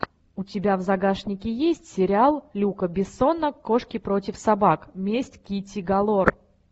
у тебя в загашнике есть сериал люка бессона кошки против собак месть китти галор